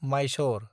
Mysore